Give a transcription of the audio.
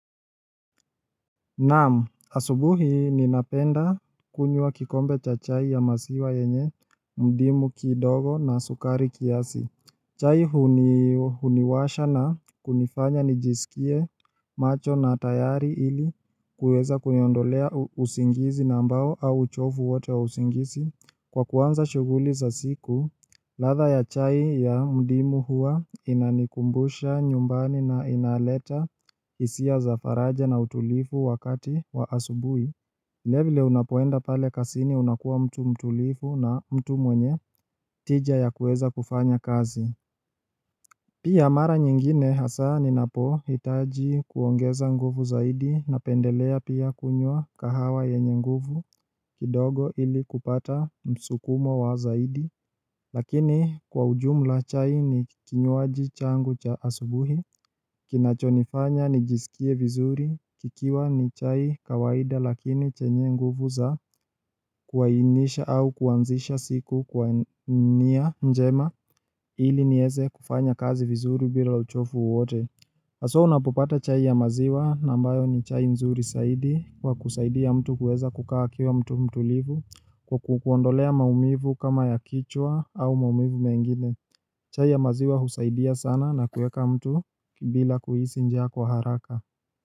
Naam, asubuhi ninapenda kunywa kikombe cha chai ya maziwa yenye, ndimu kidogo na sukari kiasi. Chai huniwasha na kunifanya nijisikie macho na tayari ili kuweza kuniondolea usingizi na ambao au uchovu wote wa usingizi. Kwa kuanza shughuli za siku, ladha ya chai ya mdimu huwa inanikumbusha nyumbani na inaleta hisia za faraja na utulifu wakati wa asubuhi vilevile unapoenda pale kazini unakuwa mtu mtulivu na mtu mwenye tija ya kuweza kufanya kazi Pia mara nyingine hasa ninapohitaji kuongeza nguvu zaidi napendelea pia kunywa kahawa yenye nguvu kidogo ili kupata msukumo wa zaidi Lakini kwa ujumla chai ni kinywaji changu cha asubuhi Kinachonifanya nijisikie vizuri kikiwa ni chai kawaida lakini chenye nguvu za kuainisha au kuanzisha siku kwa nia njema ili niweze kufanya kazi vizuri bila uchovu wowote haswa unapopata chai ya maziwa na ambayo ni chai nzuri zaidi wa kusaidia mtu kuweza kukaa akiwa mtu mtulivu Kwa kukuondolea maumivu kama ya kichwa au maumivu mengine chai ya maziwa husaidia sana na kuweka mtu bila kuhisi njaa kwa haraka.